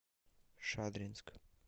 шадринск